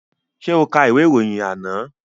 Ṣé o ka ìwé ìròyìn àná?